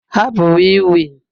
Hapụ wii wii